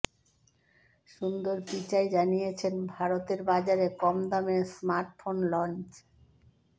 সুন্দর পিচাই জানিয়েছেন ভারতের বাজারে কম দামে স্মার্টফোন লঞ